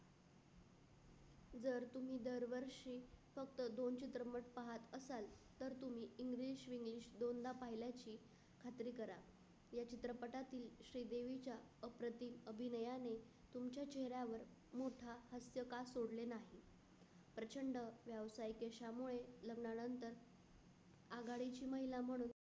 अभिनयाने तुमच्या चेहऱ्यावर मुद्दा हास्यकारक प्रचंड व्यावसायिके च्या मुळे लग्नानंतर आघाडीची महिला म्हणून.